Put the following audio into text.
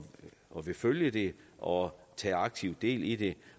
og vil følge og tage aktivt del i det